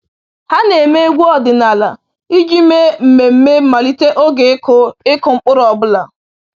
“Ha na-eme egwu ọdịnala iji mee mmemme mmalite oge ịkụ ịkụ mkpụrụ ọ bụla